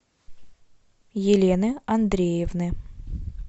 елены андреевны